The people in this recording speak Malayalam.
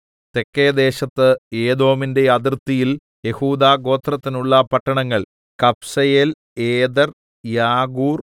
തെക്കെ ദേശത്ത് ഏദോമിന്റെ അതിർത്തിയിൽ യഹൂദാഗോത്രത്തിനുള്ള പട്ടണങ്ങൾ കബ്സേയേൽ ഏദെർ യാഗൂർ